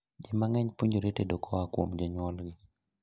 Jii mang'eny puonjore tedo koa kuom jonyuol gi